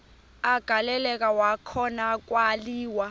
agaleleka kwakhona kwaliwa